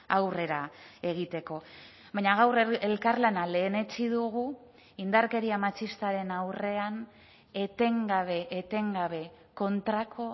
aurrera egiteko baina gaur elkarlana lehenetsi dugu indarkeria matxistaren aurrean etengabe etengabe kontrako